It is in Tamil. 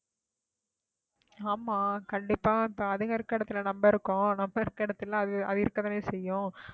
ஆமா கண்டிப்பா அதுங்க இருக்கிற இடத்துல நம்ம இருக்கோம் நம்ம இருக்கிற இடத்துல அது இருக்கத்தான் செய்யும்